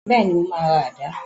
Bẹ́ẹ̀ni, mo máa ra àdá